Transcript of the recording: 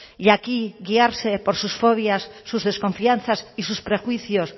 y aquí guiarse por sus fobias sus desconfianzas y sus prejuicios